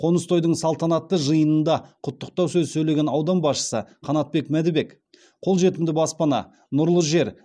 қоныс тойдың салтанатты жиынында құттықтау сөз сөйлеген аудан басшысы қанатбек мәдібек қолжетімді баспана нұрлы жер